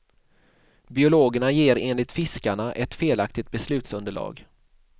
Biologerna ger enligt fiskarna ett felaktigt beslutsunderlag.